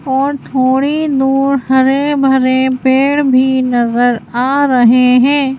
और थोड़ी दूर हरे भरे पेड़ भी नजर आ रहे हैं।